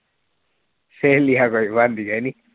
ਸਹੇਲੀਆਂ ਕੋਈ ਬਣਦੀਆਂ ਹੀ ਨਹੀਂ